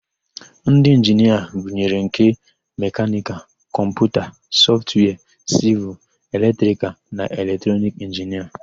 Ndị Inginia gụnyere nke: mekanikal, kọmputa, sọftwia, sịvịl, eletrikal na eletrọnic inginia.